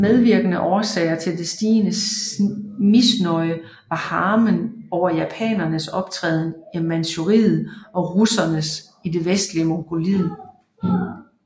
Medvirkende årsager til det stigende misnøje var harmen over japanernes optræden i Manchuriet og russernes i det vestlige Mongoliet